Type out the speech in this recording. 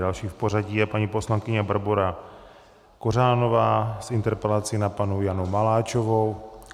Další v pořadí je paní poslankyně Barbora Kořánová s interpelací na paní Janu Maláčovou.